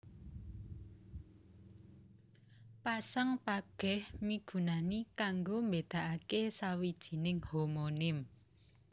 Pasang pageh migunani kanggo mbédakaké sawijining homonim